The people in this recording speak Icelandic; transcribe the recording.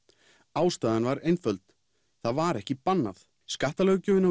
ástæðan var einföld það var ekki bannað skattalöggjöfin